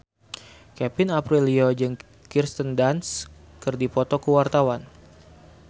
Kevin Aprilio jeung Kirsten Dunst keur dipoto ku wartawan